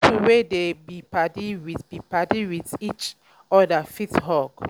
pipo wey dey be padi with be padi with each oda fit hug